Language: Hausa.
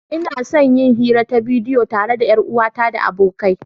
Ina son yin hira ta bidiyo tare da 'yar uwata da abokai.